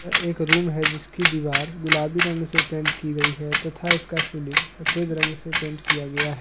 एक रूम है जिसकी दीवार गुलाबी रंग से पेंट की गई है तथा इसका सीलिंग सफेद रंग से पेंट किया गया है।